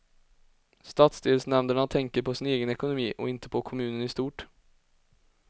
Stadsdelsnämnderna tänker på sin egen ekonomi, och inte på kommunen i stort.